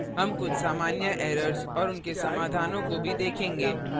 हम कुछ सामान्य errors और उनके समाधानों को भी देखेंगे